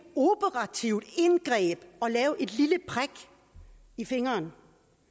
operativt indgreb at lave et lille prik i fingeren